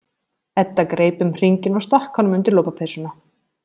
Edda greip um hringinn og stakk honum undir lopapeysuna.